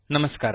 ನಮಸ್ಕಾರ